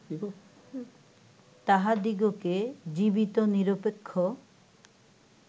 তাহাদিগকে জীবিতনিরপেক্ষ